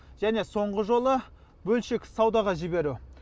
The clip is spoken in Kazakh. және соңғы жолы бөлшек саудаға жіберу